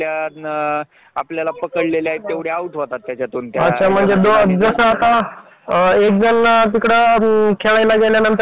सप्न पूर्ण करण्यासाठी एखाद्या ठिकाणी काम कराव लागत त्या काम करण्याची पद्धत नौकरी म्हणतो